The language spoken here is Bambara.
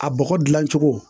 A bɔgɔ dilan cogo